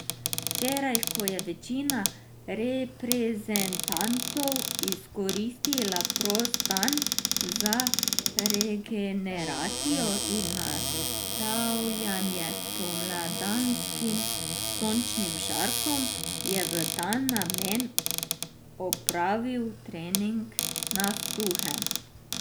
Včeraj, ko je večina reprezentantov izkoristila prost dan za regeneracijo in nastavljanje spomladanskim sončnim žarkom, je v ta namen opravil trening na suhem.